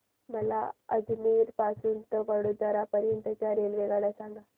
मला अजमेर पासून तर वडोदरा पर्यंत च्या रेल्वेगाड्या सांगा